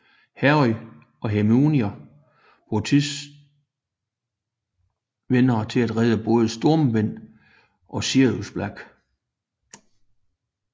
Harry og Hermione bruger tidsvenderen til at redde både Stormvind og Sirius Black